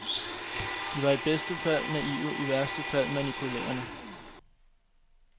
De var i bedste fald naive, i værste fald manipulerende.